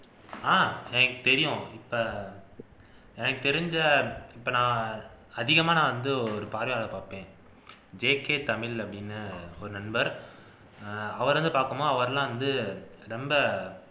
ஆஹ் எனக்கு தெரியும் இப்ப எனக்கு தெரிஞ்ச இப்ப நான் அதிகமா நான் வந்து ஒரு ஐ பாப்பேன் ஜே கே தமிழ் அப்படின்னு ஒரு நண்பர் அவரை வந்து பாப்போமா அவரெல்லாம் வந்து ரொம்ப